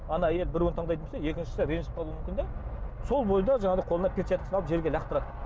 ана әйел біреуін таңдайтын болса екіншісі ренжіп қалуы мүмкін де сол бойында жанағыдай қолына перчаткасын алып жерге лақтырады